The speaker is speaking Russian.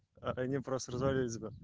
а они просто развалились бы